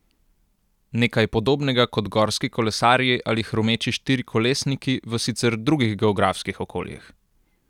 Nekaj podobnega kot gorski kolesarji ali hrumeči štirikolesniki v sicer drugih geografskih okoljih.